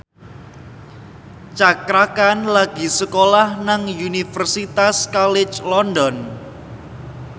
Cakra Khan lagi sekolah nang Universitas College London